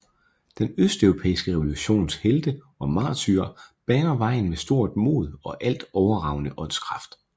Den østeuropæiske revolutions helte og martyrer baner vejen med stort mod og alt overragende åndskraft